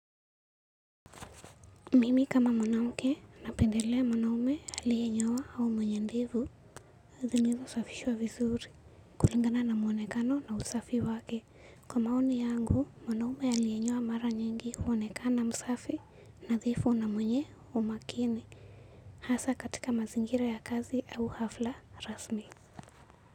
Mimi kama mwanamke napendelea mwanaume alie nyoa au mwenye ndevu, zilizosafishwa vizuri, kulingana na mwonekano na usafi wake. Kwa maoni yangu, mwanaume alienyoa mara nyingi huonekana msafi, nadhifu na mwenye umakini, hasa katika mazingira ya kazi au hafla rasmi.